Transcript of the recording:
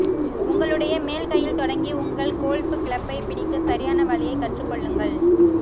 உங்களுடைய மேல் கையில் தொடங்கி உங்கள் கோல்ஃப் கிளப்பை பிடிக்க சரியான வழியைக் கற்றுக்கொள்ளுங்கள்